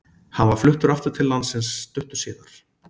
Hann var fluttur aftur til landsins stuttu síðar.